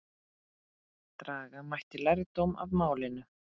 Draga mætti lærdóm af málinu.